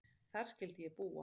Þar skyldi ég búa.